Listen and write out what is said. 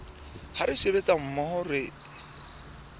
ha re sebetsa mmoho re